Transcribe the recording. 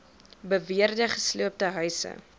beweerde gesloopte huise